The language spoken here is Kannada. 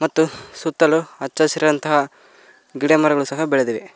ಮತ್ತು ಸುತ್ತಲು ಅಚ್ಚ ಹಸಿರಂತಹ ಗಿಡಮರಗಳು ಸಹ ಬೆಳೆದಿವೆ.